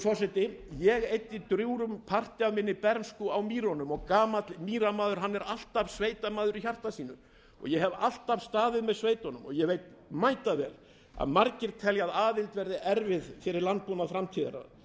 forseti ég eyddi drjúgum parti af minni bernsku á mýrunum og gamall mýramaður er alltaf sveitamaður í hjarta sínu ég hef alltaf staðið með sveitunum og ég veit mætavel að margir telja að aðild verði erfið fyrir landbúnað framtíðarinnar